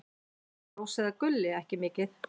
Rósa eða Gulli: Ekki mikið.